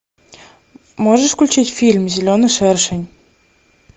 можешь включить фильм зеленый шершень